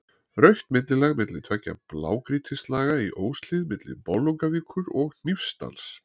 Rautt millilag milli tveggja blágrýtislaga í Óshlíð milli Bolungarvíkur og Hnífsdals.